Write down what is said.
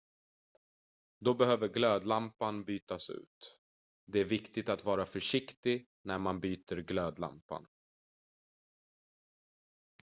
då behöver glödlampan bytas ut det är viktigt att vara försiktig när man byter glödlampan